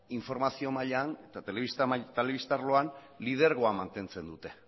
informazio mailan telebista arloan lidergoa mantentzen dute